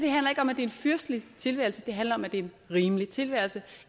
en fyrstelig tilværelse det handler om at det er en rimelig tilværelse